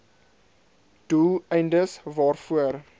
doel eindes waarvoor